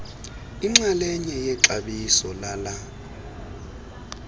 inxalenye yexabiso lala